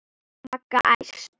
Magga æst.